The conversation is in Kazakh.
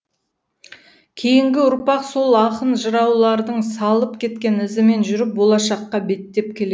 кейінгі ұрпақ сол ақын жыраулардың салып кеткен ізімен жүріп болашаққа беттеп келед